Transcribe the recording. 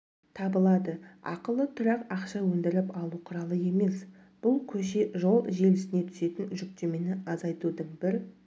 табылады ақылы тұрақ ақша өндіріп алу құралы емес бұл көше-жол желісіне түсетін жүктемені азайтудың бір